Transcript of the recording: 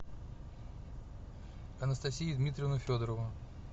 анастасию дмитриевну федорову